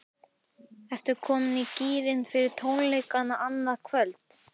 Ertu komin í gírinn fyrir tónleikana annað kvöld?